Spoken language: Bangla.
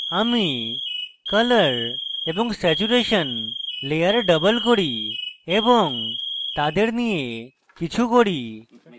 আমি colour এবং saturation লেয়ার double করি এবং তাদের নিয়ে কিছু করি